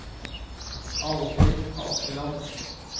Alvhild Askeland